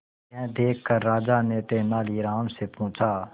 यह देखकर राजा ने तेनालीराम से पूछा